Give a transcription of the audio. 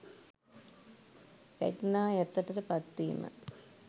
රැග්නා යටතට පත් වීම.